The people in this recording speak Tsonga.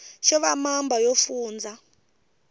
xo va mamba yo fundza